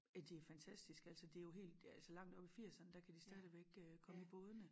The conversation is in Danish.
At det fantastisk altså det jo helt altså langt op i firserne der kan de stadigvæk øh komme i bådene